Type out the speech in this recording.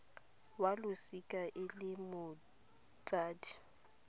wa losika e le motsadi